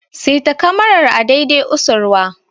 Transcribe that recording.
Seta kamarar a dai dai usurwa!